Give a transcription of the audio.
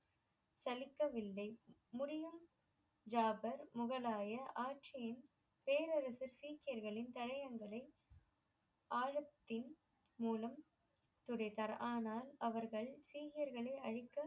சலிக்கவில்லை முறியும் ஜாபர் முகலாய ஆட்சியின் பேரரசு சீக்கியர்களின் தடையங்களை ஆழத்தின் மூலம் துடைத்தார் ஆனால் அவர்கள் சீக்கியர்களை அளிக்க